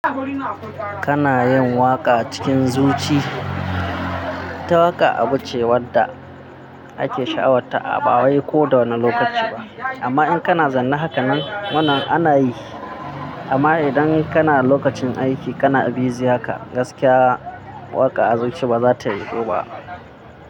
Kana yin waƙa cikin zuci. Ita waka abu ce wadda ake sha'awar ta bawai ko da wanne lokaci ba. Amma in kana zaune hakanan, wannan ana yi. Amma idan kana lokacin aiki kana busy haka, gaskiya waƙa a zuci ba za ta yiwu ba.